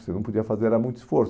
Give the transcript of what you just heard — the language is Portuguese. Você não podia fazer era muito esforço.